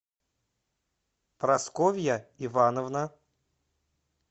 прасковья ивановна